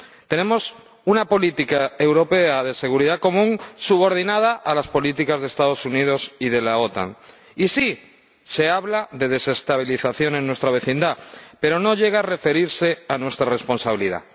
Tenemos una política europea de seguridad común subordinada a las políticas de los Estados Unidos y de la OTAN, y sí, se habla de desestabilización en nuestra vecindad, pero no llegamos a referirnos a nuestra responsabilidad.